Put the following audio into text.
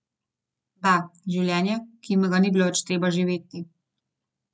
Da, življenje, ki jima ga ni bilo več treba živeti.